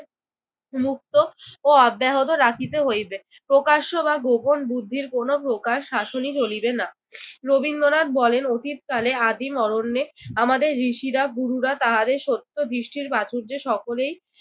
উন্মুক্ত ও অব্যাহত রাখিতে হইবে। প্রকাশ্য বা গোপন বুদ্ধির কোন প্রকার শাসনই চলিবে না। রবীন্দ্রনাথ বলেন, অতীতকালে আদিম অরণ্যে আমাদের ঋষিরা গুরুরা তাহাদের সত্য দৃষ্টির প্রাচুর্যে সকলেই